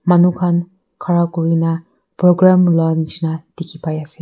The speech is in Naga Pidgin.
manu kan khara kurina program lua nishina tiki bai ase.